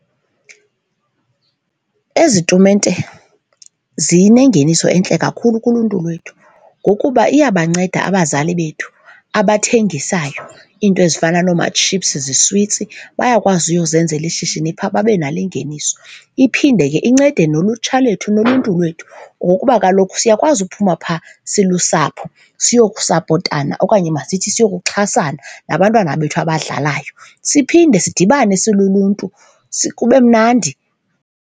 Ezi tumente zinengeniso entle kakhulu kuluntu lwethu ngokuba iyabanceda abazali bethu abathengisisayo iinto ezifana nooma-chips ziswitsi, bayakwazi uyozenzela ishishini phaa babe nalo ingeniso. Iphinde ke incede nolutsha lethu noluntu lwethu ngokuba kaloku siyakwazi uphuma phaa silusapho siye nokusapotana okanye masithi siyokuxhasana nabantwana bethu abadlalayo. Siphinde sidibane siluluntu kube mnandi.